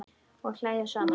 Og hlæja saman.